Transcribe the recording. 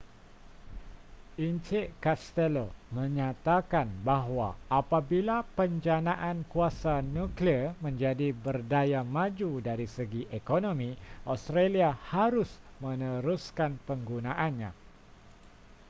en castello menyatakan bahwa apabila penjanaan kuasa nuklear menjadi berdaya maju dari segi ekonomi australi harus meneruskan penggunaannya